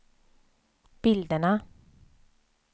bilderna